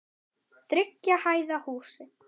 Þriggja hæða húsi.